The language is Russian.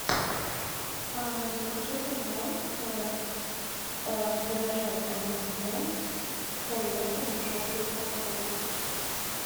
закажи пожалуйста драже эм энд эмс с орехом в желтой упаковке